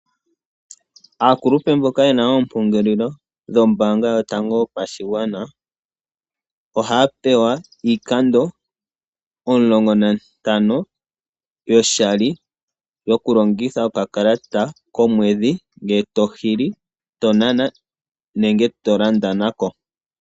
Aakulupe mboka yena oompongelelo dhombaanga yotango yopashigwana ,ohaa pewa iikando omulongo nantano yoshali yoku longitha okakalata komwedhi ngele to hili ,to nana nenge to landa na ko.